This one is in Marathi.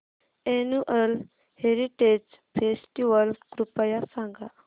अॅन्युअल हेरिटेज फेस्टिवल कृपया सांगा